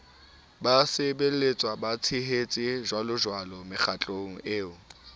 basebelletswa batshehetsi jjwalojwalo mekgatlong eo